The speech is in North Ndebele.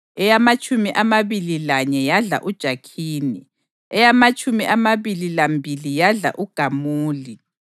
eyamatshumi amabili lanye yadla uJakhini, eyamatshumi amabili lambili yadla uGamuli,